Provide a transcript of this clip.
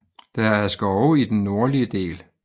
Der er skove i den nordlige del